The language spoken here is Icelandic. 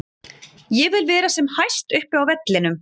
Ég vil vera sem hæst upp á vellinum.